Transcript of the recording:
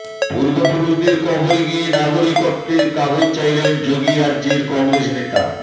পূর্বপুরুষদের কবরে গিয়ে নাগরিকত্বের কাগজ চাইলেন যোগীর রাজ্যের কংগ্রেস নেতা